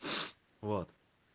вот